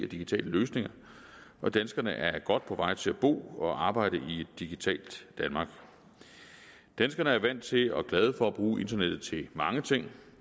digitale løsninger og danskerne er godt på vej til at bo og arbejde i et digitalt danmark danskerne er vant til og glade for at bruge internettet til mange ting